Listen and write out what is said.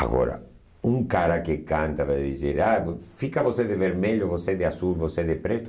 Agora, um cara que canta vai dizer, ah fica você de vermelho, você de azul, você de preto.